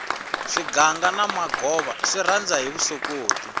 swiganga na magova swi rhanda hi vusokoti